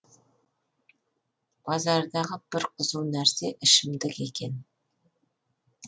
базардағы бір қызу нәрсе ішімдік екен